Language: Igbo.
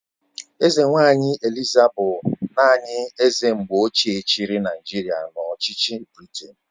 Eze nwaanyị Eliza bụ naanị eze mgbe ochie chịrị Naijiria n'ọchịchị Briten..